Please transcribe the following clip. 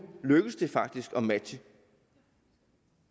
lykkedes det faktisk at matche